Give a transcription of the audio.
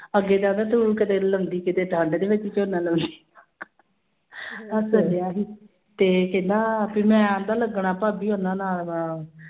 ਅੱਗੇ ਕਹਿੰਦਾ ਤੂੰ ਕਿਤੇ ਲੰਬੀ ਕਿਤੇ ਠੰਢ ਦੇ ਵਿੱਚ ਝੋਨਾ ਲਾਉਂਦੀ ਹੱਸ ਰਿਹਾ ਸੀ ਤੇ ਕਹਿੰਦਾ ਫਿਰ ਮੈਂ ਕਹਿੰਦਾ ਲੱਗਣਾ ਭਾਬੀ ਉਹਨਾਂ ਨਾਲ ਅਹ